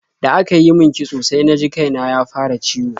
Da aka yi min kitso sai na ji kai na ya fara ciwo.